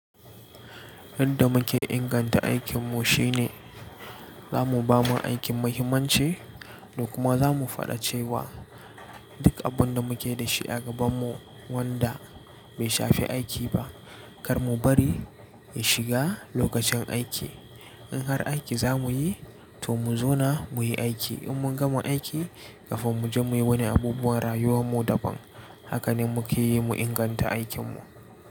Yanda muke inganta aikin mu shine zamu bama aikin muhimmanci da kuma zamu faɗace wa duk abun da muke da shi a gabanmu wanda bai shafe aiki ba kar mu bari ya shiga lokacin aiki. In har aiki zamuyi to mu zauna muyi aiki in mun gama aiki kafin mu je muyi wani abubuwan rayuwar mu daban. Haka ne muke yi mu inganta aikin mu.